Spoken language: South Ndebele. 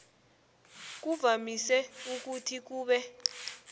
kuvamise ukuthi kube